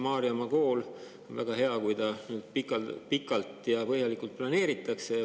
Maarjamaa kool – on väga hea, kui seda pikalt ja põhjalikult planeeritakse.